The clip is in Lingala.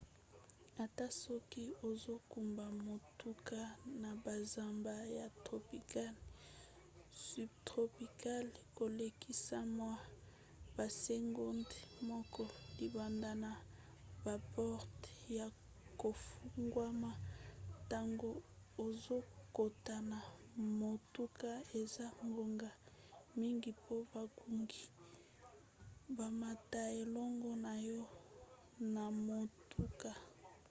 ata soki ozokumba motuka na bazamba ya tropical subtropicale kolekisa mwa basegonde moke libanda na baporte ya kofungwama ntango ozokota na motuka eza ngonga mingi po bangungi bamata elongo na yo na motuka